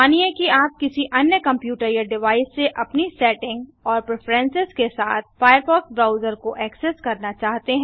मानिए कि आप किसी अन्य कंप्यूटर या डिवाइस से अपनी सेटिंग और प्रिफ्रेंसेस के साथ फायरफॉक्स ब्राउजर को ऐक्सेस करना चाहते हैं